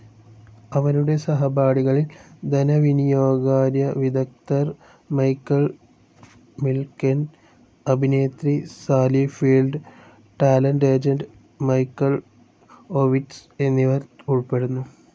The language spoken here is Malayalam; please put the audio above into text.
അവരുടെ സഹപാഠികളിൽ ധനവിനിയോഗകാര്യവിദഗ്ദ്ധൻ മൈക്കേൾ മിൽക്കെൻ, അഭിനേത്രി Sally Field, talent agent Michael Ovitz എന്നിവർ ഉൾപ്പെടുന്നു.